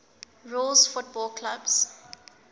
rules football clubs